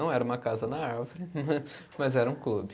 Não era uma casa na árvore, mas era um clube.